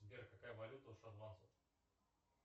сбер какая валюта у шотландцев